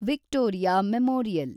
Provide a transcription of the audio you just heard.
Victoria memorial